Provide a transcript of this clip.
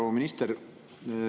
Proua minister!